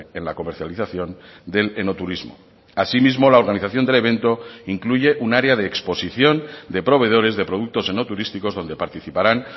en la comercialización del enoturismo así mismo la organización del evento incluye un área de exposición de proveedores de productos enoturísticos donde participaran